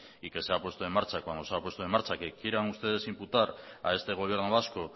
y que se ha puesto en marcha cuando se ha puesto en marcha que quieran ustedes imputar a este gobierno vasco